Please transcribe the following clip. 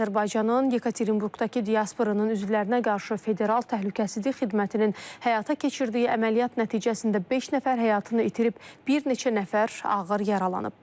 Azərbaycanın Yekaterinburqdakı diasporunun üzvlərinə qarşı Federal Təhlükəsizlik Xidmətinin həyata keçirdiyi əməliyyat nəticəsində beş nəfər həyatını itirib, bir neçə nəfər ağır yaralanıb.